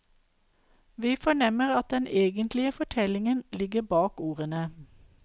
Vi fornemmer at den egentlige fortellingen ligger bak ordene.